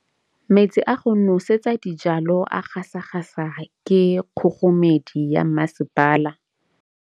Metsi a go nosetsa dijalo a gasa gasa ke kgogomedi ya masepala.